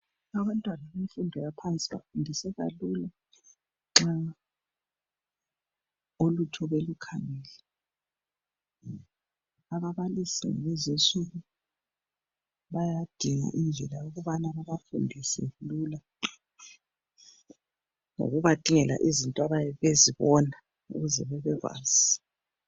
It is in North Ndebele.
Abantwana bemfundo yaphansi bafundiseka lula nxa ulutho belukhangele ababalisi kulezinsuku bayadinga indlela yokubana babafundise lula ngokuba dingela izinto abayabe bezibona ukuze bebekwazi.